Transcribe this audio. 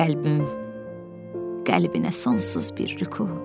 Qəlbim qəlbinə sonsuz bir rüku.